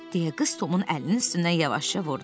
Deyə qız Tomun əlinin üstündən yavaşca vurdu.